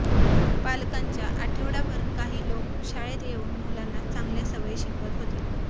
पालकांच्या आठवडाभर काही लोक शाळेत येऊन मुलांना चांगल्या सवयी शिकवत होते